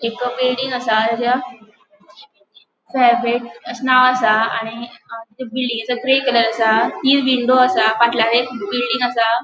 एक बिल्डिंग आसा अशे नाव आसा आणि त्या बिल्डिंगेचो ग्रे कलर आसा तीन विंडो आसा फाटल्यान एक बिल्डिंग आसा.